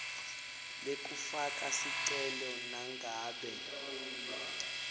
lekufaka sicelo nangabe